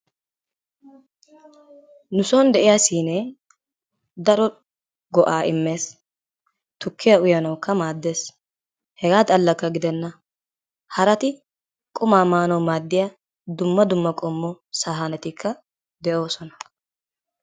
Nuson de'iya siinee daro go'aa immes. Tukkiya uyanawukka maaddes. Hegaa xallakka gidenna harati qumaa maanawu maaddiya dumma dumma qommo saanetikka de'oosona.